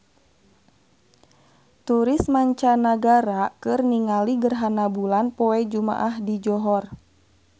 Turis mancanagara keur ningali gerhana bulan poe Jumaah di Johor